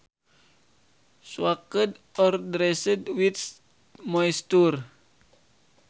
Soaked or drenched with moisture